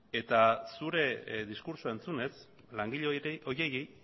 eta zure diskurtsoa entzunez langile horiei